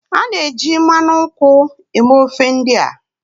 A na-eji mmanụ nkwụ eme ofe ndị a